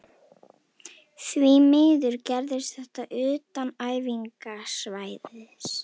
Því miður gerðist þetta utan æfingasvæðisins.